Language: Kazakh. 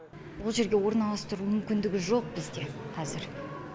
ол жерге орналастыру мүмкіндігі жоқ бізде қазір